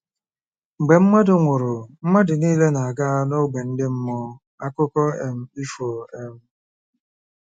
Mgbe mmadụ nwụrụ, mmadụ niile na-aga n'ógbè ndị mmụọ: akụkọ um ifo. um